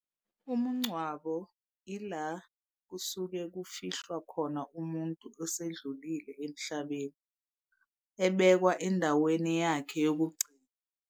Umungcwabo ila kusuke kufihlwa khona umuntu osedlulile emhlabeni, ebekwa endaweni yakhe yokugcina.